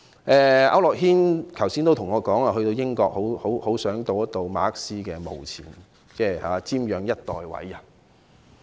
區諾軒議員剛才跟我說，到英國的時候很想到馬克思的墓前，瞻仰一代偉人。